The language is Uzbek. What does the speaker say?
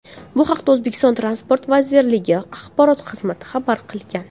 Bu haqda O‘zbekiston transport vazirligi axborot xizmati xabar qilgan .